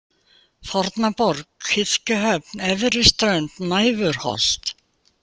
Fornaborg, Kirkjuhöfn, Efriströnd, Næfurholt